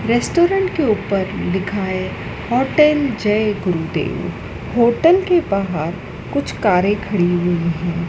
Restaurant के ऊपर दिखाएं होटल जय गुरुदेव होटल के बाहर कुछ कारें खड़ी हुई हैं।